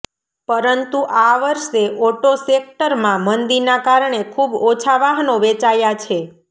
પરંતુ આ વર્ષે ઓટો સેક્ટરમાં મંદીના કારણે ખુબ ઓછા વાહનો વેચાયા છે